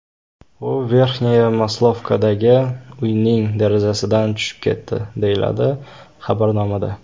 U Verxnyaya Maslovkadagi uyning derazasidan tushib ketdi”, deyiladi xabarnomada.